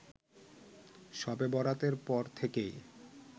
শবে বরাতের পর থেকেই